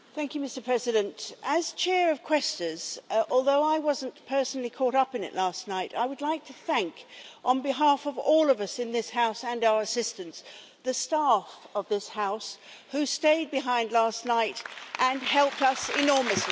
Mr President, as chair of Quaestors, although I wasn't personally caught up in it last night, I would like to thank on behalf of all of us in this House and our assistants, the staff of this House who stayed behind last night and helped us enormously.